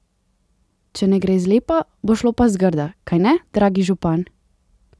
Če ne gre zlepa, bo šlo pa zgrda, kajne, dragi župan?